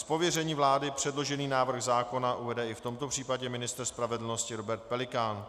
Z pověření vlády předložený návrh zákona uvede i v tomto případě ministr spravedlnosti Robert Pelikán.